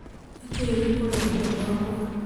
Nĩ kĩĩ gĩkũrehire gwakwa?